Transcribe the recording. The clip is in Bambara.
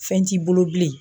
Fɛn t'i bolo bilen.